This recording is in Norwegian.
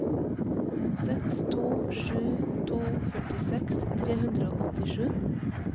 seks to sju to førtiseks tre hundre og åttisju